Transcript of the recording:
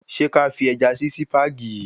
Ṣé kí a fi Ẹja sí Sípàgì yìí?